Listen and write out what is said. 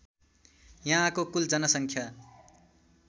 यहाँको कूल जनसङ्ख्या